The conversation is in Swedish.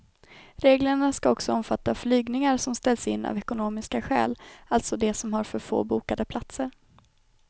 Reglerna ska också omfatta flygningar som ställs in av ekonomiska skäl, alltså de som har för få bokade platser.